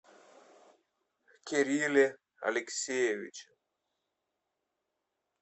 кирилле алексеевиче